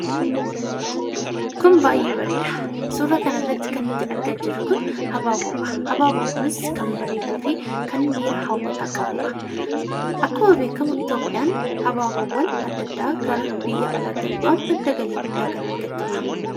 Kun baay'ee bareeda suuraa kanarratti kan arginu abaaboodha. Abaaboon kunis kan bareeduu fi kan miira hawwataa qabudha. Akkuma beekamu Itoophiyaan abaaboowwan adda addaa gara biyya alaatti erguudhaan madda galii guddaa kaa argattudha.